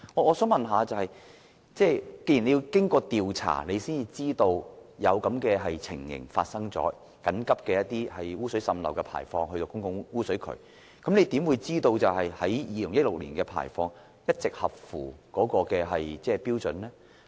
我想問局長，既然當局要經過調查才知道發生了這種情況，即有超標滲漏污水須緊急排放到公共污水渠，局長如何知道2016年的排放一直合乎標準？